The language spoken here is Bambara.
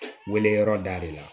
Weleyɔrɔ da de la